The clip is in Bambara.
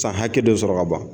San hakɛ dɔ sɔrɔ ka ban